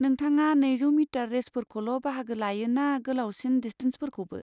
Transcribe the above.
नोंथाङा नैजौ मिटार रेसफोरखौल' बाहागो लायो ना गोलावसिन डिस्टेन्सफोरखौबो?